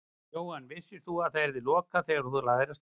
Jóhann: Vissir þú að það yrði lokað þegar þú lagðir af stað?